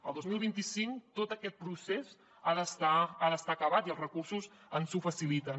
el dos mil vint cinc tot aquest procés ha d’estar acabat i els recursos ens ho faciliten